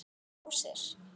Hvað með rósir?